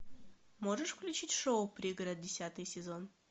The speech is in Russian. можешь включить шоу пригород десятый сезон